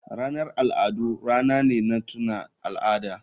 Ranar al'adu rana ne na tuna al'ada.